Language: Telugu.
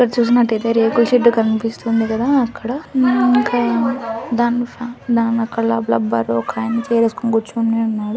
ఇక్కడ చూస్తున్నట్టయితే రేకుల షెడ్డు కనిపిస్తుంది కదా. అక్కడ ఉమ్ ఇంకా దానిపైన దాని అక్కడ లా రబ్బరు ఒక ఆయన చైర్ వేసుకుని కూర్చున్నారు.